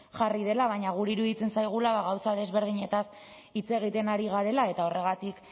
jarri dela baina guri iruditzen zaigula gauza desberdinetaz hitz egiten ari garela eta horregatik